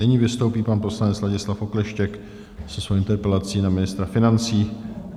Nyní vystoupí pan poslanec Ladislav Okleštěk se svou interpelací na ministra financí.